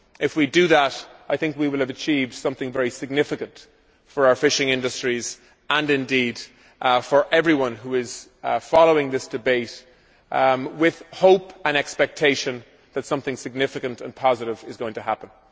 If we do that, I think we will have achieved something very significant for our fishing industries, and indeed for everyone who is following this debate with hope and expectation that something significant and positive is going to happen.